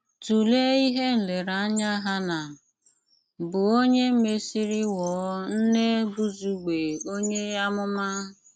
Túléé íhé nléréńáyá Háná, bụ́ ónyè mèsírí ghọọ nné Bùzùgbé ónyè àmụmá.